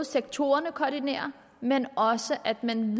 sektorerne koordinerer men også at man